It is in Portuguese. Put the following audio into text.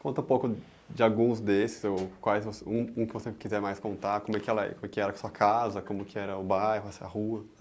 conta um pouco de alguns desses, ou quais você, um um que você quiser mais contar, como que ela é? como que era sua casa, como que era o bairro, essa rua?